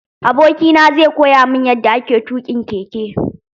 Aboki na zai koya mun yanda ake tuƙin keke.